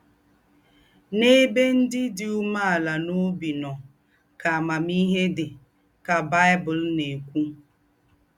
“N’èbè ndí́ dí úmèàlà n’óbí nọ̀ ká àmàmíhé dí,” ká Bible nà-èkwú.